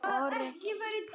Aníta Hólm.